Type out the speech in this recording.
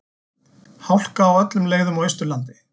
Hálka á öllum leiðum á Austurlandi